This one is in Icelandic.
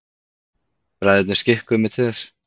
Bræðurnir skikkuðu mig til þess.